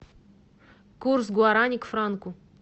курс гуарани к франку